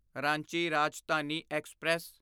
Ranchi Rajdhani express